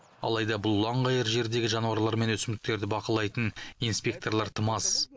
алайда бұл ұланғайыр жердегі жануарлар мен өсімдіктерді бақылайтын инспекторлар тым аз